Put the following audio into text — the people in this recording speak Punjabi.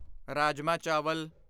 ਰਾਜਮਾਹ ਚਾਵਲ